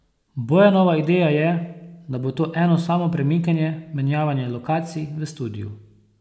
Bojanova ideja je, da bo to eno samo premikanje, menjavanje lokacij v studiu.